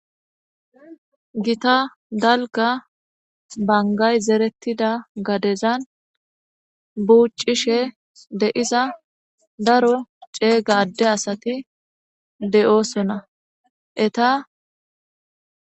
Gita dalga bangay zerettida gadezan buuccishe deiza daro ceega adde asati de'oosona eta